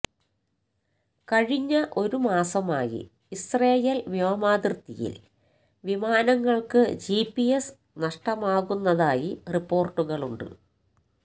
കഴിഞ്ഞ ഒരു മാസമായി ഇസ്രായേൽ വ്യോമാതിർത്തിയിൽ വിമാനങ്ങൾക്ക് ജിപിഎസ് നഷ്ടമാകുന്നതായി റിപ്പോർട്ടുകളുണ്ട്